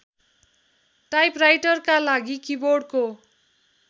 टाइपराइटरका लागि किबोर्डको